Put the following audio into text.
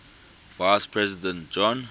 vice president john